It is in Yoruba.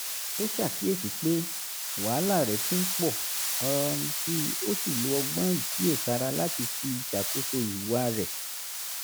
ó ṣàkíyèsí pé wàhálà rẹ ti ń pọ̀ um síi ó sì lo ọgbọ́n ìkíyèsára láti fi ṣàkóso ìhùwà rẹ̀